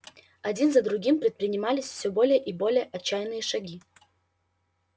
один за другим предпринимались всё более и более отчаянные шаги